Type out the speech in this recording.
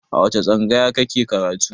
A wace tsangaya ka ke karatu?